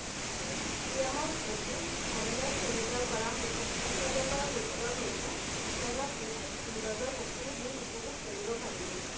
সৈতে ভালদৰে কৰা হোটেল sanitizer কৰা হোটেলৰ সৈতে কেৰেলাত নিখুঁত সৌন্দৰ্য্যৰ সকলো দিশ উপভোগ কৰিব পাৰিব।